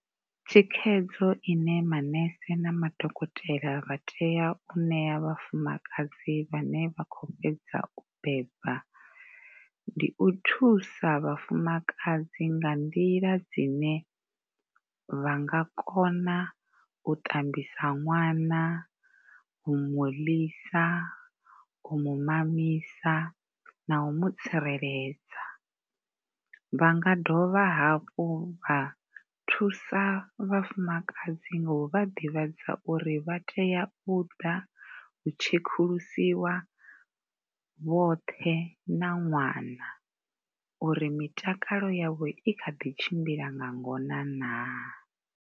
Thikhedzo i ne manese na madokotela vha tea u ṋea vhafumakadzi vhane vha khou fhedza u beba ndi u thusa vhafumakadzi nga nḓila dzine vha nga kona u ṱambisa ṅwana, u mu ḽisa, u mu mamisa na u mu tsireledza. Vha nga dovha hafhu vha thusa vhafumadzi nga u vha ḓivhadza uri vha tea u ḓa u tshekulusiwa vhoṱhe na ṅwana uri mitakalo yavho i kha ḓi tshimbila nga ngona naa.